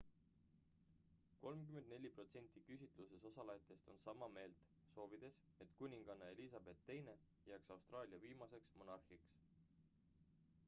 34 protsenti küsitluses osalejatest on sama meelt soovides et kuninganna elizabeth ii jääks austraalia viimaseks monarhiks